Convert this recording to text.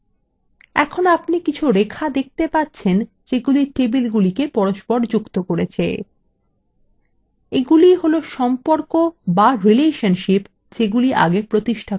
এখন আপনি কিছু রেখা দেখতে পাচ্ছেন যেগুলি টেবিলগুলিকে যুক্ত করেছে এগুলিwe হল সম্পর্ক বা relationship যেগুলি আগে প্রতিষ্ঠা করা হয়েছিল